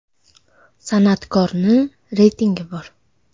San’atkorni reytingi bor.